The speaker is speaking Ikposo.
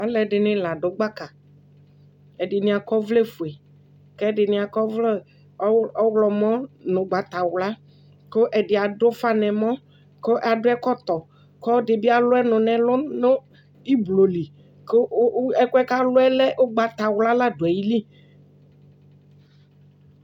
Ɛdɩnɩ ladʊ gbaka Ɛdɩnɩ akɔ ɔvlɛfoe Kʊ ɛdɩnɩ akɔ ɔvlɛ ɔwlɔmɔ nʊ ʊgbatawla Kʊ ɛdɩ adʊ ʊfa nʊ ɛmɔ, kʊ akɔ ɛkɔtɔ Kʊ ɔlɔdɩbɩ alʊ ɔnʊ nɛlʊ nu iblo li Kʊ ɛkɔɛ kʊ alʊ yɛ lɛ ʊgbatawla la dʊ ayili